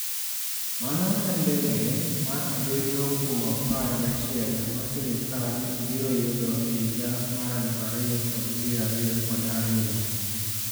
Mano en ndege mar abiriyo kuom apar gachiel ma sirkal biro yudo e higa mar 2022.